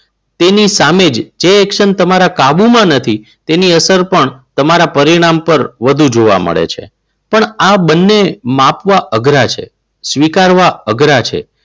તેની સામે જે એક્શન તમારા કાબુમાં નથી. તેની અસર પણ તમારા પરિણામ પર વધુ જોવા મળે છે. પણ આ બંને માપવા અઘરા છે. સ્વીકારવા અઘરા છે.